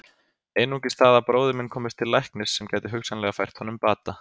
Einungis það að bróðir minn komist til læknis sem gæti hugsanlega fært honum bata.